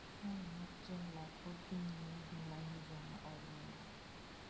Sirkal mar jela pod dhi nyime gi manyo joma oringo.